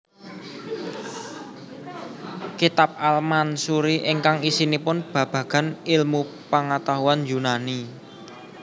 Kitab al Mansuri ingkang isinipun babagan ilmu pangatahuan Yunani